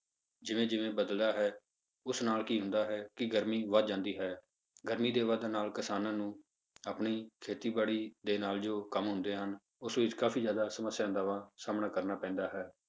ਜਿਵੇਂ ਜਿਵੇਂ ਬਦਲਦਾ ਹੈ, ਉਸ ਨਾਲ ਕੀ ਹੁੰਦਾ ਹੈ ਕਿ ਗਰਮੀ ਵੱਧ ਜਾਂਦੀ ਹੈ ਗਰਮੀ ਦੇ ਵੱਧਣ ਨਾਲ ਕਿਸਾਨਾਂ ਨੂੰ ਆਪਣੀ ਖੇਤੀਬਾੜੀ ਦੇ ਨਾਲ ਜੋ ਕੰਮ ਹੁੰਦੇ ਹਨ ਉਸ ਵਿੱਚ ਕਾਫ਼ੀ ਜ਼ਿਆਦਾ ਸਮੱਸਿਆ ਦਾ ਵਾ ਸਾਹਮਣਾ ਕਰਨਾ ਪੈਂਦਾ ਹੈ।